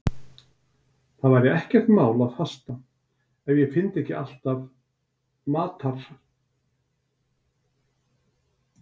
Það væri ekkert mál að fasta ef ég fyndi ekki alltaf matar